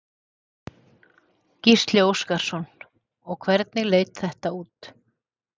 Gísli Óskarsson: Og hvernig leit þetta út?